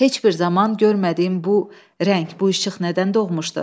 Heç bir zaman görmədiyim bu rəng, bu işıq nədən doğmuşdu?